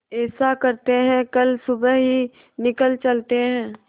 ऐसा करते है कल सुबह ही निकल चलते है